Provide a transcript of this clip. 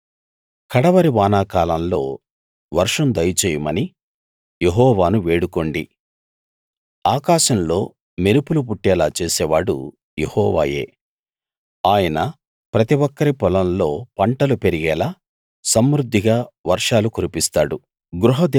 కడవరి వాన కాలంలో వర్షం దయచేయమని యెహోవాను వేడుకోండి ఆకాశంలో మెరుపులు పుట్టేలా చేసేవాడు యెహోవాయే ఆయన ప్రతి ఒక్కరి పొలంలో పంటలు పెరిగేలా సమృద్ధిగా వర్షాలు కురిపిస్తాడు